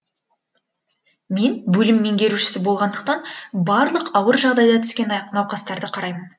мен бөлім меңгерушісі болғандықтан барлық ауыр жағдайда түскен науқастарды қараймын